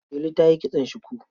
Delu ta yi kitson shuku.